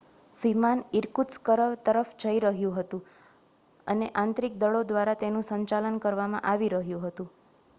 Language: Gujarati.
વિમાન ઇરકુત્સ્ક તરફ જઈ રહ્યું હતું અને આંતરિક દળો દ્વારા તેનું સંચાલન કરવામાં આવી રહ્યું હતું